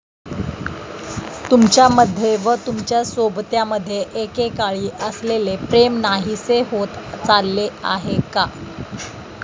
तुमच्यामध्ये व तुमच्या सोबत्यामध्ये एकेकाळी असलेले प्रेम नाहीसे होत चालले आहे का?